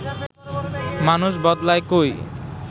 মানুষ বদলায় কই